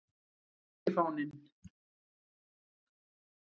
Finnski fáninn.